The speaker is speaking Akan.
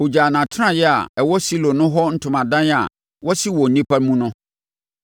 Ɔgyaa nʼatenaeɛ a ɛwɔ Silo no hɔ ntomadan a wasi wɔ nnipa mu no.